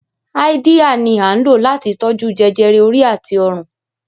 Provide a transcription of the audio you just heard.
Háídíà ni à ń lò láti tó jú jẹjẹrẹ orí àti ọrùn